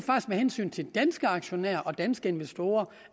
med hensyn til danske aktionærer og danske investorer